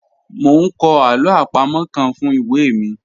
Mo n kọ alo apamo kan fun iwe mi